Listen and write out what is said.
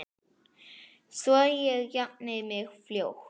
Svo ég jafni mig fljótt.